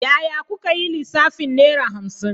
Yaya kuka yi lissafin Naira hamsin?